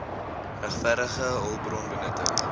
regverdige hulpbron benutting